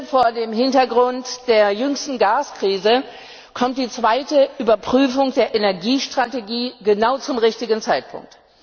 Vor dem Hintergrund der jüngsten Gaskrise kommt die zweite Überprüfung der Energiestrategie genau zum richtigen Zeitpunkt.